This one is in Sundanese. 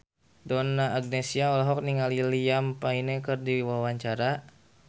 Donna Agnesia olohok ningali Liam Payne keur diwawancara